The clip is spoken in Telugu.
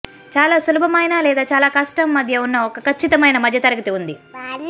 చాలా సులభమైన లేదా చాలా కష్టం మధ్య ఉన్న ఒక ఖచ్చితమైన మధ్యతరగతి ఉంది